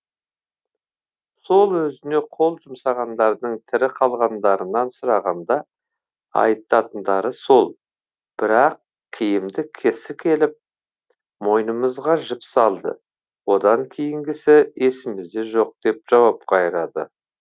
сол өзіне қол жұмсағандардың тірі қалғандарынан сұрағанда айтатындары сол бір ақ киімді кісі келіп мойынымызға жіп салды одан кейінгісі есімізде жоқ деп жауап қайырады